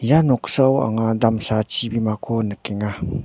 ia noksao anga damsa chibimako nikenga.